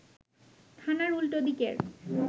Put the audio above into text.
থানার উল্টো দিকের